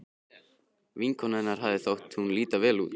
Vinkonu hennar hafði þótt hún líta vel út.